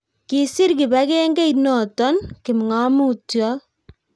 kisir kibagengeit noto kipngomutyot